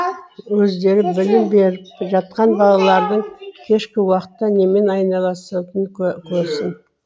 өздері білім беріп жатқан балалардың кешкі уақытта немен айналысатынын көрсін